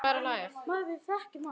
Og það var að hlæja.